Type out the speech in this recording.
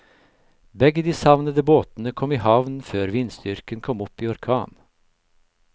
Begge de savnede båtene kom i havn før vindstyrken kom opp i orkan.